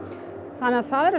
þannig það eru